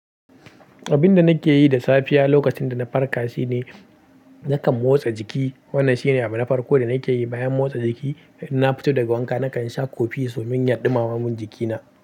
Abin da nake yi da safiya lokacin da na farka shine nakan motsa jiki. Wannan shine abu na farko da nake yi bayan motsa jiki. In na fito daga wanka, nakan sha kofi domin yaɗi mamamin jikina.